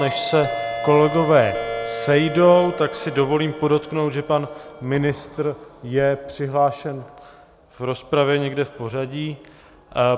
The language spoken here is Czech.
Než se kolegové sejdou, tak si dovolím podotknout, že pan ministr je přihlášen v rozpravě někde v pořadí.